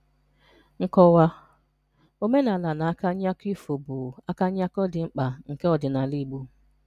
Nkọ́wà: Òmènàlà na àkànyà̀kọ̀ ifò bụ̀ àkànyà̀kọ̀ dị̀ mkpà nké òdìnàlà Ìgbò